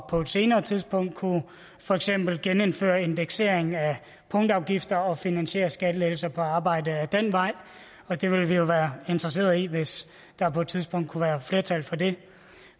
på et senere tidspunkt at kunne for eksempel genindføre indeksering af punktafgifter og finansiere skattelettelser på arbejde ad den vej og det vil vi jo være interesserede i hvis der på et tidspunkt kunne være flertal for det